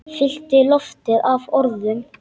Fyllti loftið af orðum.